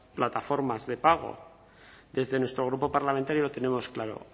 plataformas de pago desde nuestro grupo parlamentario lo tenemos claro